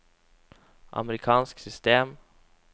amerikansk system